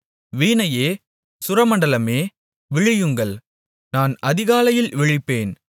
வீணையே சுரமண்டலமே விழியுங்கள் நான் அதிகாலையில் விழிப்பேன்